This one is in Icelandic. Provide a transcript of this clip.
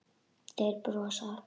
Þeir brosa.